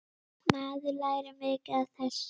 Maður lærir mikið af þessu.